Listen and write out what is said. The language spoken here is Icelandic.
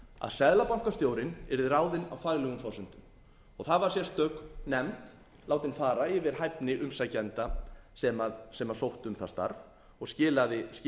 seðlabankastjórinn yrði ráðinn á faglegum forsendum það var sérstök nefnd látin fara yfir hæfni umsækjenda sem sóttu um það starf og skilaði